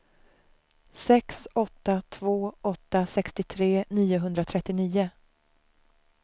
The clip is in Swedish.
sex åtta två åtta sextiotre niohundratrettionio